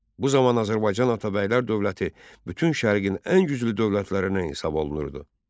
Bu zaman Azərbaycan Atabəylər dövləti bütün şərqin ən güclü dövlətlərindən hesab olunurdu.